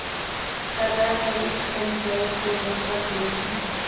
कलरवयुक्त पंचायत पेड़ों पर बैठी